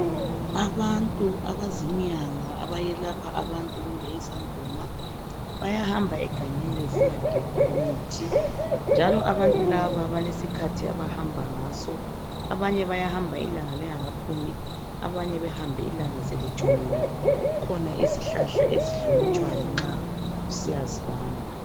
Abantu abazinyanga abayelapha abantu kumbe izangoma bayahamba egangeni besiya gebha imithi njalo abantu laba balesikhathi abahamba ngaso abanye bayahamba ilanga lingakaphumi abanye behambe ilanga selitshonile kukhona izihlahla ezihlonitshwayo nxa usiyazibamba.